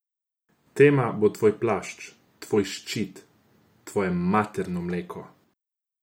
Tema bo tvoj plašč, tvoj ščit, tvoje materno mleko.